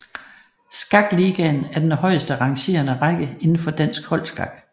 Skakligaen er den højeste rangerende række indenfor dansk holdskak